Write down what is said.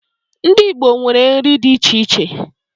Ndị Igbo nwere nri dị iche iche.